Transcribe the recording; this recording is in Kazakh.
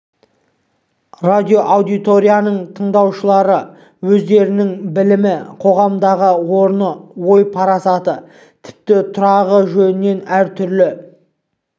радиоаудиторияның тыңдаушылары өздерінің білімі қоғамдағы орны ой-парасаты тіпті тұрағы жөнінен әр түрлі